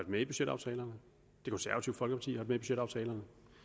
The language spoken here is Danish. med i budgetaftalerne det konservative folkeparti har budgetaftalerne